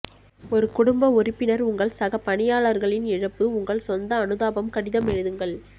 ஒரு குடும்ப உறுப்பினர் உங்கள் சக பணியாளர்களின் இழப்பு உங்கள் சொந்த அனுதாபம் கடிதம் எழுதுங்கள்